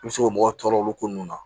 I bɛ se k'o mɔgɔ tɔɔrɔ olu ko nun na